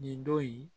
Nin don in